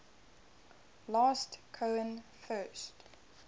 last cohen first